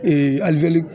alijeli